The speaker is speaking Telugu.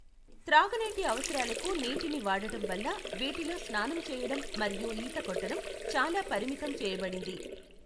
త్రాగునీటి అవసరాలకు నీటిని వాడటం వల్ల వీటిలో స్నానం చేయడం మరియు ఈత కొట్టడం చాలా పరిమితం చేయబడింది.